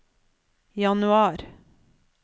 januar